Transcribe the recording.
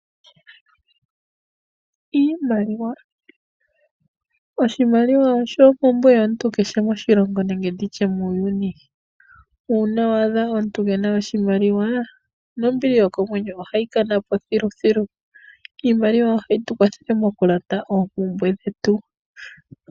Iimaliwa, oshimaliwa osho ompumbwe yomuntu kehe moshilongo nenege nditye muuyuni. Uuna wa adha omuntu kena oshimaliwa nombili yo komwenyo ohayi kana po thilu. Iimaliwa ohayi tu kwathele mo kulanda oompumbwe dhetu.